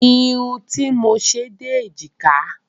Irun tí mo ṣe dé èjìká